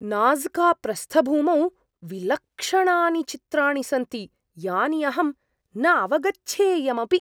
नाज़्काप्रस्थभूमौ विलक्षणानि चित्राणि सन्ति यानि अहम् न अवगच्छेयम् अपि!